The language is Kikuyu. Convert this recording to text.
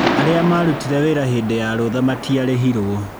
Arĩa marutire wĩra hĩndĩ ya rũtha matiarĩhirwo.